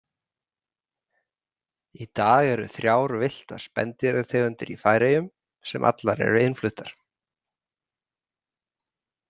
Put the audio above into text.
Í dag eru þrjár villtar spendýrategundir í Færeyjum sem allar eru innfluttar.